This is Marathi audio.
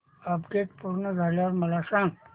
अपडेट पूर्ण झाल्यावर मला सांग